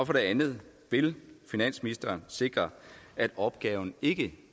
for det andet vil finansministeren sikre at opgaven ikke